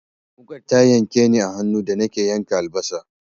Wuƙar ta yanke ni a hannu da nake yanka albasa.